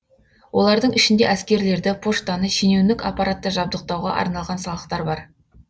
олардың ішінде әскерлерді поштаны шенеунік аппаратты жабдықтауға арналған салықтар бар